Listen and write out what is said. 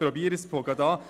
Ich versuche es.